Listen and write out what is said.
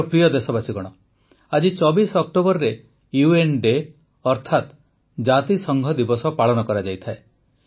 ମୋର ପ୍ରିୟ ଦେଶବାସୀଗଣ ଆଜି ୨୪ ଅକ୍ଟୋବରରେ ୟୁଏନ୍ ଡେ ଅର୍ଥାତ ଜାତିସଂଘ ଦିବସ ପାଳନ କରାଯାଏ